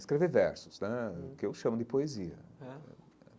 escrever versos né, o que eu chamo de poesia é.